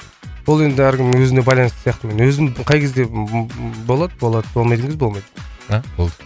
ол енді әркімнің өзіне байланысты сияқты мен өзім қай кезде болады болады болмайтын кезде болмайды а болды